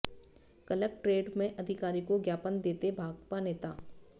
collectorate में अधिकारी को ज्ञापन देते भाकपा नेता